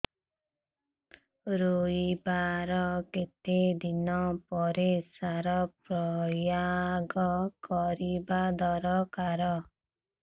ରୋଈବା ର କେତେ ଦିନ ପରେ ସାର ପ୍ରୋୟାଗ କରିବା ଦରକାର